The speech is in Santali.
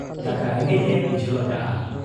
ᱫᱟᱠᱟ ᱨᱮᱸᱜᱮᱡ ᱮ ᱵᱩᱡᱷᱟᱹᱣ ᱟᱠᱟᱜ ᱟ ᱾